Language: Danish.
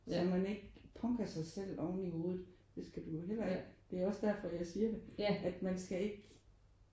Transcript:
Så man ikke punker sig selv oveni hovedet. Det skal du jo heller ikke det er også derfor jeg siger det at man skal ikke